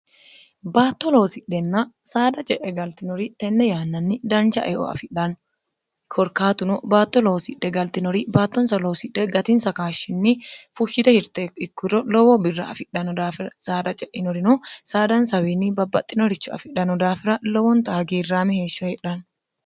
baatto loosidhenna saada ce'e galtinori tenne yaannanni danca eo afidhanno korkaatuno baatto loosidhe galtinori baattonsa loosidhe gatin sakaashshinni fushshite hirte ikkuro lowoo birra afidhano daafira saada ce'inorino saadansaawiinni babbaxxinoricho afidhano daafira lowonta hagiirraami heeshsho heedhanno